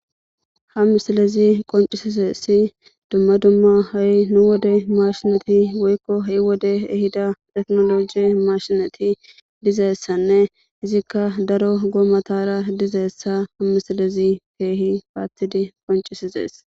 "Ha misilezi qonccisizaysi dumma dumma ha'i nu wode maashineti woykko ha'i wodey ehida techinologe maashineti dizaysanne izikka daro goomatara dizaysa misilezi keehi paatidi qonccisizaysa."